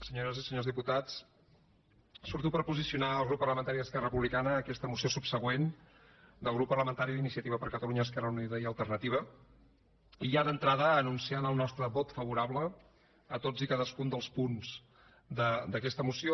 senyores i senyors diputats surto per posicionar el grup parlamentari d’esquerra republicana en aquesta moció subsegüent del grup parlamentari d’iniciativa per catalunya esquerra unida i alternativa i ja d’entrada anun ciant el nostre vot favorable a tots i cadascun dels punts d’aquesta moció